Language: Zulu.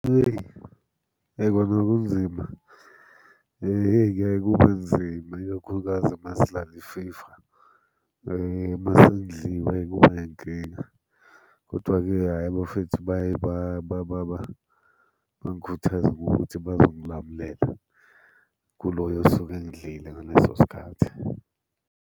Hheyi, yebo bekunzima, hheyi kuyaye kube nzima ikakhulukazi uma sidlala i-FIFA. Uma sengidliwe kuba yinkinga, kodwa-ke hhayi abafethu baye bangikhuthaze ngokuthi bazongilamulela. Kuloyo osuke engidlile ngaleso sikhathi.